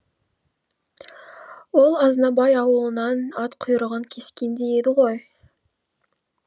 ол азнабай аулынан ат құйрығын кескендей еді ғой